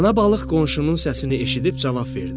Ana balıq qonşunun səsini eşidib cavab verdi: